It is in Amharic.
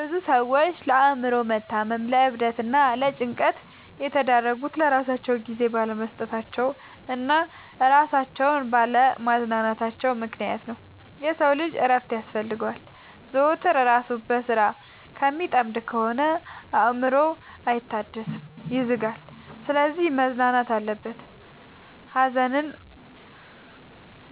ብዙ ሰዎች ለአእምሮ መታመም ለዕብደት እና ለጭንቀት የተዳረጉት ለራሳቸው ጊዜ ባለመስጠታቸው እና እራሳቸውን ባለ ማዝናናታቸው ምክንያት ነው። የሰው ልጅ እረፍት ያስፈልገዋል። ዘወትር እራሱን በስራ ከሚጠምድ ከሆነ አእምሮው አይታደስም ይዝጋል። ስለዚህ መዝናናት አለበት። ሀዘን